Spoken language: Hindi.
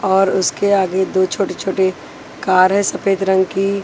और उसके आगे दो छोटे-छोटे कार है सफेद रंग की।